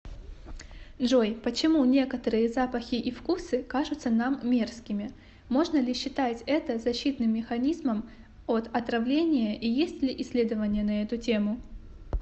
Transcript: джой почему некоторые запахи и вкусы кажутся нам мерзкими можно ли считать это защитным механизмом от отравления и есть ли исследования на эту тему